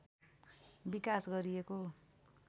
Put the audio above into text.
विकास गरिएको